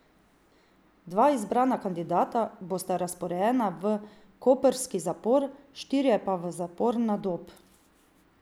Dva izbrana kandidata bosta razporejena v koprski zapor, štirje pa v zapor na Dob.